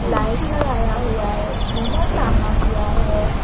Light लगाया हुआ है झूमर टांगा हुआ है।